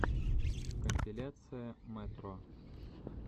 компиляция мэтро